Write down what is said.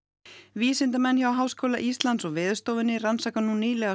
vísindamenn hjá Háskóla Íslands og Veðurstofunni rannsaka nú nýlega